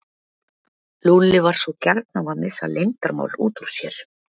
Lúlli var svo gjarn á að missa leyndarmál út úr sér.